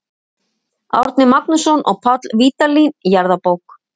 Árni Magnússon og Páll Vídalín: Jarðabók.